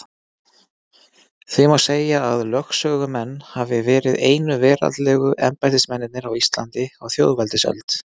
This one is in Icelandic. Því má segja að lögsögumenn hafi verið einu veraldlegu embættismennirnir á Íslandi á þjóðveldisöld.